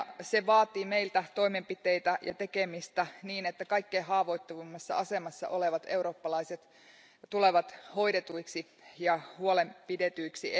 Se vaatii meiltä toimenpiteitä ja tekemistä niin, että kaikkein haavoittuvimmassa asemassa olevat eurooppalaiset tulevat hoidetuiksi ja huolenpidetyiksi.